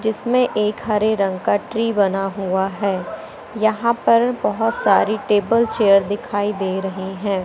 जिसमें एक हरे रंग का ट्री बना हुआ है यहां पर बहुत सारी टेबल चेयर दिखाई दे रहे हैं।